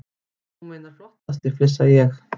Þú meinar flottasti, flissa ég.